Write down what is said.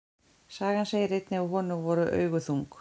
Sagan segir einnig að honum voru augu þung.